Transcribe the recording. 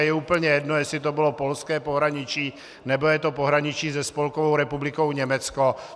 A je úplně jedno, jestli to bylo polské pohraničí, nebo je to pohraničí se Spolkovou republikou Německo.